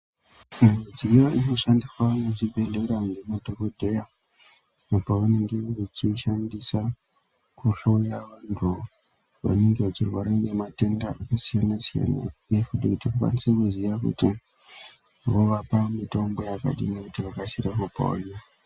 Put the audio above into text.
Midziyo inoshandiswa muzvibhedhlera ngemadhokodheya pavanenge vechiishandisa kuhloya vantu vanenge vechirwara ngematenda akasiyana siyana nekuti tikwanise kuziya kuti vovapa mitombo yakadini kuti vakasire kupona.